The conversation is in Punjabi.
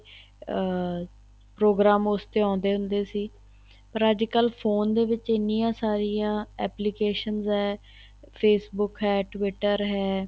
ਅਹ ਪ੍ਰੋਗਰਾਮ ਉਸ ਤੇ ਆਉਦੇ ਹੁੰਦੇ ਸੀ ਪਰ ਅੱਜ ਕੱਲ ਫੋਨ ਵਿੱਚ ਐਨੀਆਂ ਸਾਰੀਆਂ applications ਹੈ Facebook ਹੈ twitter ਹੈ